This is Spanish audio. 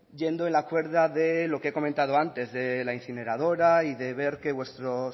yendo en la cuerda de lo que he comentado antes de la incineradora y de ver que vuestros